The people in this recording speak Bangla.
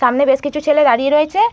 সামনে বেশ কিছু ছেলে দাঁড়িয়ে রয়েছে।